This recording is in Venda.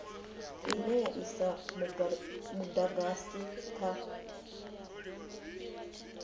ine ya isa mudagasi kha